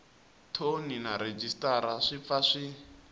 thoni na rhejisitara swi pfa